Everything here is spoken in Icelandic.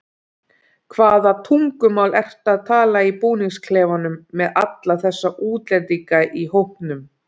Hvaða tungumál ertu að tala í búningsklefanum með alla þessa útlendinga í hópnum?